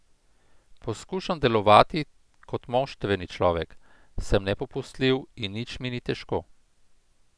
Poskušam delovati kot moštveni človek, sem nepopustljiv in nič mi ni težko.